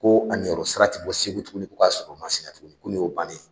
Ko a niyɔrɔ sara tɛ bɔ Segu tuguni ko k'a sɔrɔ Masina tuguni ko nin y'o bannen ye